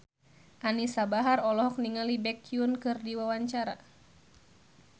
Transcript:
Anisa Bahar olohok ningali Baekhyun keur diwawancara